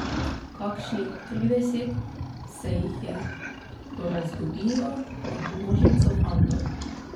Kakšnih trideset se jih je porazgubilo med množico fantov.